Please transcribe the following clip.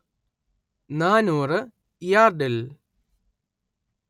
നാനൂറ് യാർഡിൽ